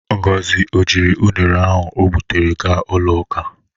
Ngozi o jiri unere ahụ o gbụtere ga ụlọ ụka?